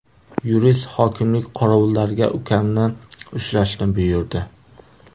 Yurist hokimlik qorovullariga ukamni ushlashni buyurdi.